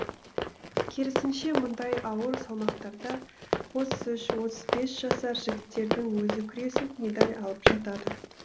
керісінше мұндай ауыр салмақтарда отыз үш отыз бес жасар жігіттердің өзі күресіп медаль алып жатады